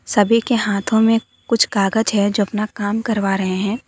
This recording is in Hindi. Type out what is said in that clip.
सभी के हाथो में कुछ कागज है जो अपना काम करवा रहे हैं।